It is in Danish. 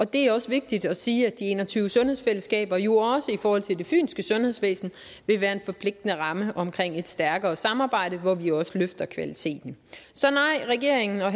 det er også vigtigt at sige at de en og tyve sundhedsfællesskaber jo også i forhold til det fynske sundhedsvæsen vil være en forpligtende ramme omkring et stærkere samarbejde hvor vi også løfter kvaliteten så nej regeringen har